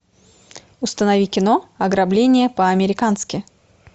установи кино ограбление по американски